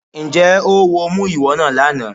Ǹjẹ́ oówo mú ìwọ náà lánàá?